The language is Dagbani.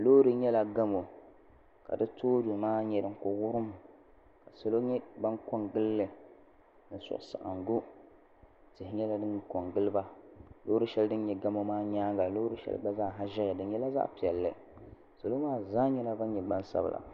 Loori nyɛla gamu ka di tooni maa nyɛ din kuli wurum ka salo nyɛ ban kongili li ni suhusaɣingu tihi nyɛla din kongili ba loori sheli dinyɛ gamu maa nyaanga ka loori sheli gba zaa ʒɛya di nyɛla zaɣa piɛlli salo maa zaa nyɛla gbansabla.